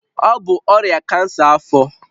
Ọ bụ ọrịa kansa afọ